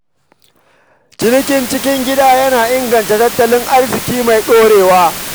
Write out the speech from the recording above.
Cinikin cikin gida yana taimakawa wajen gina tattalin arziƙi mai ɗorewa.